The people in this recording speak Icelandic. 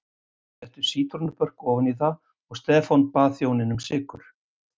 Þeir settu sítrónubörk ofan í það og Stefán bað þjóninn um sykur.